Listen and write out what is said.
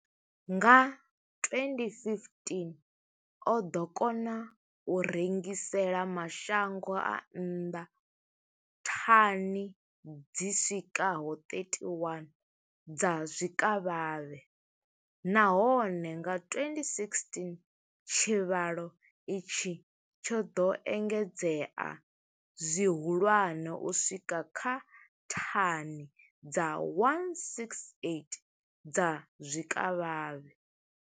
Nga 2015, o ḓo kona u rengisela mashango a nnḓa thani dzi swikaho 31 dza zwikavhavhe, nahone nga 2016 tshivhalo itshi tsho ḓo engedzea zwihulwane u swika kha thani dza 168 dza zwikavhavhe.